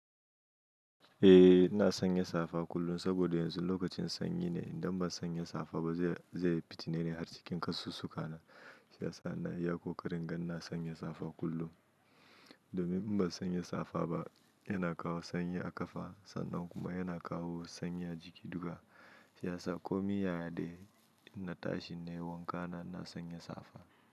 Eh ina sanya safa kullum saboda yanzu lokacin sanyi ne. Idan ban sanya safa ba zai fitine ni har cikin kasusuwa na. Shi yasa na yi iya ƙoƙarin gani na sanya safa kullum. Domin in ban sanya safa ba yana kawo sanyi a ƙafa sannan kuma yana kawo sanyi a jiki duka. Shi yasa komin yaya dai inna tashi na yi wanka na ina sanya safa.